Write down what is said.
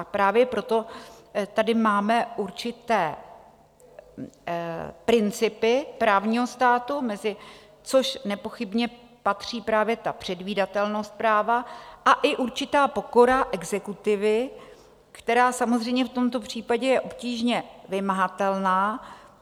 A právě proto tady máme určité principy právního státu, mezi což nepochybně patří právě ta předvídatelnost práva a i určitá pokora exekutivy, která samozřejmě v tomto případě je obtížně vymahatelná.